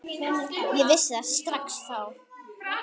Ég vissi það strax þá.